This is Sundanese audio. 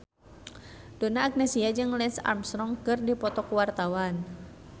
Donna Agnesia jeung Lance Armstrong keur dipoto ku wartawan